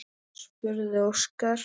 spurði Óskar.